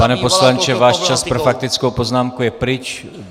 Pane poslanče, váš čas pro faktickou poznámku je pryč.